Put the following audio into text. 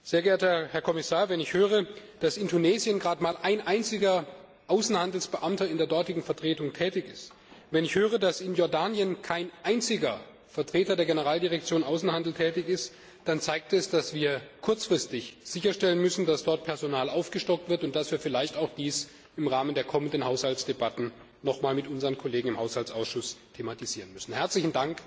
Sehr geehrter Herr Kommissar, wenn ich höre, dass in Tunesien gerade mal ein einziger Außenhandelsbeamter in der dortigen Vertretung tätig ist, wenn ich höre, dass in Jordanien kein einziger Vertreter der Generaldirektion Außenhandel tätig ist, dann zeigt das, dass wir kurzfristig sicherstellen müssen, dass dort Personal aufgestockt wird und dass wir dies vielleicht auch im Rahmen der kommenden Haushaltsdebatten noch einmal mit unseren Kollegen im Haushaltsausschuss thematisieren müssen. Herzlichen Dank an den Kollegen Rinaldi für diesen sehr ausgewogenen Bericht.